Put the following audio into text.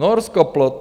Norsko plot.